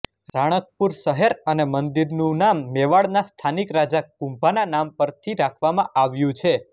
રાણકપુર શહેર અને મંદિરનું નામ મેવાડના સ્થાનિક રાજા કુંભાના નામ પર થી રાખવામાં આવ્યું છે